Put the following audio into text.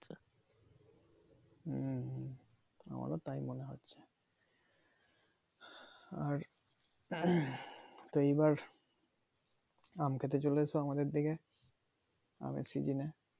হম হম আমারো তাই মনে হচ্ছে আর তো এইবার আম খেতে চলেছো আমাদের দিকে আমের সিজনে।